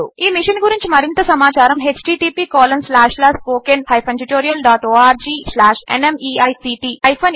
ఈ మిషన్ గురించి మరింత సమాచారము httpspoken tutorialorgNMEICT Intro